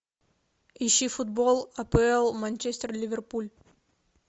ищи футбол апл манчестер ливерпуль